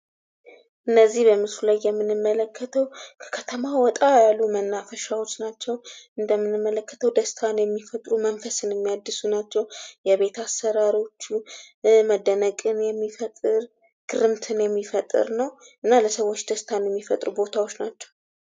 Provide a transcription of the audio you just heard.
እነዚህ በምስሉ ላይ የምንመልከተው ከከተማው ወጣ ያሉ መናፈሻዎች ናቸው። እንደምንመለክተው ደስታን የሚሰጡ መንፈስን የሚያድሱ ናቸው። መደነቅን የሚፈጥር ፣ ግርምትን የሚፈጥር ነው። እና ለሰወች ደስታን የሚፈጥሩ ቦታዎች ናቸው።